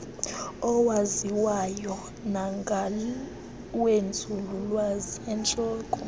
awaziwayo nangawenzululwazi eentlobo